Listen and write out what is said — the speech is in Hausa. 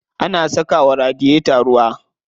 Ana saka wa radiyeta ruwa.